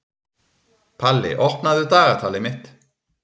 Palli, opnaðu dagatalið mitt.